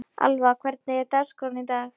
Alva, hvernig er dagskráin í dag?